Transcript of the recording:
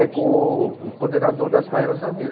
É com o o coordenador das baianas da Avenida.